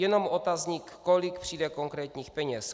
Jenom otazník, kolik přijde konkrétních peněz.